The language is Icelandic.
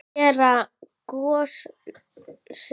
Gerð gosefna